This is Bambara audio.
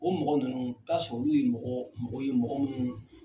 O mɔgɔ nunnu, i be taa sɔrɔ olu ye mɔgɔɔ mɔgɔw ye mɔgɔ munnuu